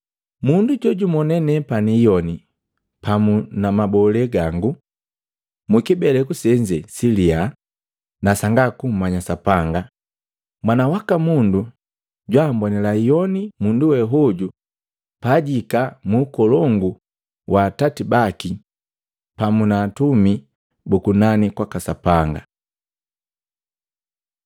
Mundu jojumonee nepani iyoni pamu na mabola gangu mukibeleku senze siliya na sanga kummanya Sapanga, Mwana waka Mundu jwaammbonila iyoni mundu we hoju pajihika muukolongu wa Atati baki pamu na atumi bu kunani kwaka Sapanga.”